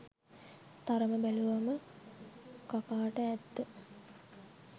තරම බැලුවම කකාට ඇත්ත